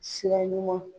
Sira ɲuman